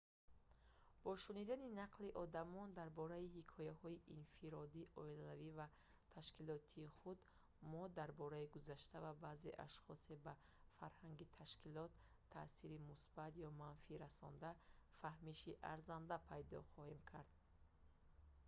бо шунидани нақли одамон дар бораи ҳикояҳои инфиродӣ оилавӣ ва ташкилотии худ мо дар бораи гузашта ва баъзе ашхоси ба фарҳанги ташкилот таъсири мусбат ё манфӣ расонда фаҳмиши арзанда пайдо кардем